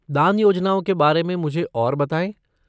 दान योजनाओं के बारे में मुझे और बताएँ।